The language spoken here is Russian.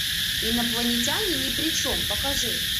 инопланетяне ни при чем покажи